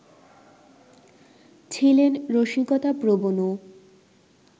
ছিলেন রসিকতাপ্রবণও